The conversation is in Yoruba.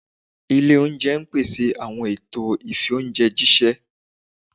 ilé oúnjẹ ipese awọn ẹtọ ifi oúnjẹ jiṣẹ.